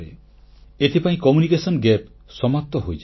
ଏଥିପାଇଁ ସଂଯୋଗ ବ୍ୟବଧାନ ସମାପ୍ତ ହୋଇଯାଏ